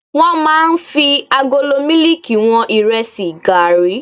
Wọ́n máa ń fi agolo mílíkì wọn Ìrẹsì, gààrí.